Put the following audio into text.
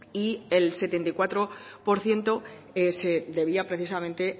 y el setenta y cuatro por ciento se debía precisamente